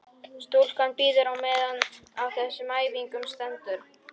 Stúlkan bíður á meðan á þessum æfingum stendur.